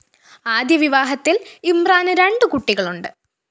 ആദ്യ വിവാഹത്തില്‍ ഇമ്രാന് രണ്ട് കുട്ടികളുണ്ട്